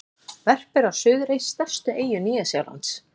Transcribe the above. Verpir á Suðurey, stærstu eyju Nýja-Sjálands.